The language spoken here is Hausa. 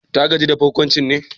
Ta gaji da barkwancin ne?